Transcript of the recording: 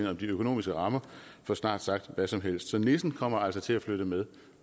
om de økonomiske rammer for snart sagt hvad som helst så nissen kommer altså til at flytte med